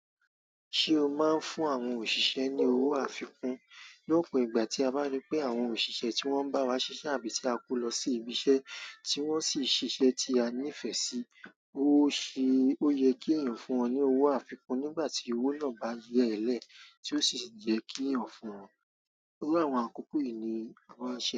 Ṣé o máa ń fún àwọn òṣìṣẹ́ ní owó àfikún? Ni òpin ìgbà tí a bá ríi pé àwọn òṣìṣẹ́ tí wọ́n ń bá wa ṣiṣẹ́ àbí tí a kó lọ sí ibiṣẹ́ tí wọ́n sì ṣiṣẹ́ tí a nífẹ̀ẹ́ sí, ó ṣe, ó yẹ kí èèyàn fún wọn ní owó àfikún nígbà tí owó náà ba yẹ́ẹ́lẹ̀ tí ó sì yẹ́ kí èèyàn fún wọn. Iru àwọn àkókò yìí ni àwa ń ṣe.